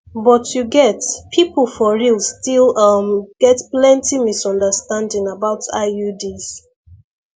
but you get people for real still um get plenty misunderstanding about iuds